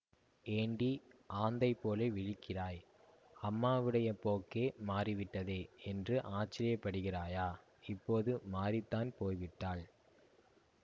ஏண்டி ஆந்தைபோல விழிக்கிறாய் அம்மாவுடைய போக்கே மாறிவிட்டதே என்று ஆச்சரியப்படுகிறாயா இப்போது மாறித்தான் போய்விட்டாள்